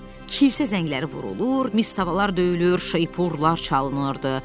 Kilsə zəngləri vurulur, mis tavalar döyülür, şeippurlar çalınırdı.